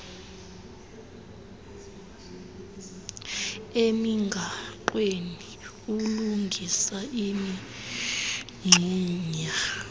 emigaqweni ukulungisa imingxunya